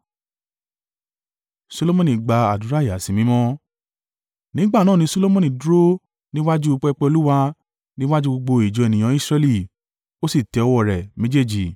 Nígbà náà ni Solomoni dúró níwájú pẹpẹ Olúwa, ní iwájú gbogbo ìjọ ènìyàn Israẹli, ó sì tẹ́ ọwọ́ rẹ̀ méjèèjì.